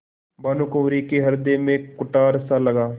भानुकुँवरि के हृदय में कुठारसा लगा